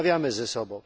Rozmawiamy ze sobą.